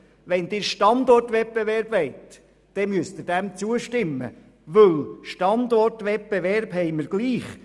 Wenn Sie einen Standortwettbewerb wollen, dann müssen Sie dem zustimmen, denn einen Standortwettbewerb haben wir ohnehin.